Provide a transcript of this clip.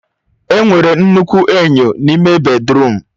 Enwere nnukwu enyo n'ime bèdrụm.